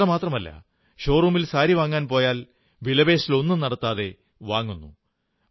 ഇത്രമാത്രമല്ല ഷോറൂമിൽ സാരി വാങ്ങാൻ പോയാൽ വിലപേശലൊന്നും നടത്താതെ വാങ്ങുന്നു